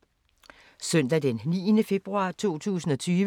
Søndag d. 9. februar 2020